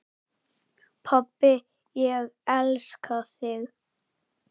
Pabbi, ég elska þig.